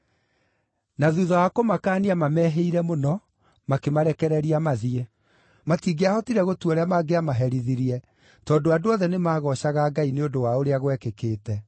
Na thuutha wa kũmakaania, maamehĩire mũno, makĩmarekereria mathiĩ. Matingĩahotire gũtua ũrĩa mangĩamaherithirie, tondũ andũ othe nĩmagoocaga Ngai nĩ ũndũ wa ũrĩa gwekĩkĩte.